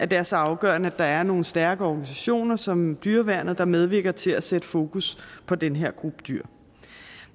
det er så afgørende at der er nogle stærke organisationer som dyreværnet der medvirker til at sætte fokus på den her gruppe dyr